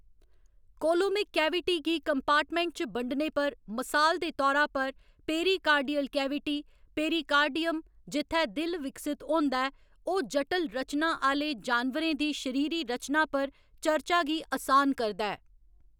Coelomic cavity गी compartment च बंडने पर, मसाल दे तौरा पर, पेरिकार्डियल कैविटी, पेरिकार्डियम, जित्थै दिल विकसत होंदा ऐ, ओह्‌‌ जटल रचनां आह्‌‌‌ले जानवरें दी शरीरी रचना पर चर्चा गी असान करदा ऐ।